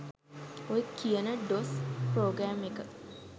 ඔය කියන DOS program එක